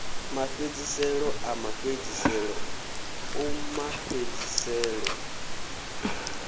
mafhedziselo a mafhedziselo o mafhedziselo